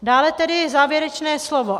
Dále tedy závěrečné slovo.